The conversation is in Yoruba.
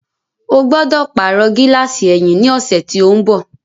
Ó gbọ́dọ̀ pàrọ̀ gíláàsì ẹ̀yìn yìí ní ọ̀sẹ̀ tí ó ń bọ̀.